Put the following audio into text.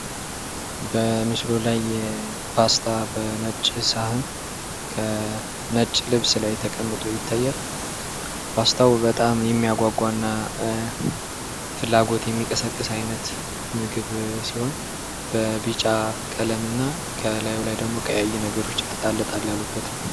በምስሉ ላይ የ ፓስታ በነጭ ህሳህን ከ ነጭ ልብስ ላይ ተቀምጦ ይታያል። ፓስታው በጣም የሚያጓጓ እና ፍላጎት የሚቀሰቀስ አይነት ምግብ ሲሆን በቢጫ ቀለም እና ከላዩ ላይ ደግሞ ቀያይ ነገሮችን ጣል ጣል ያሉበት ነው።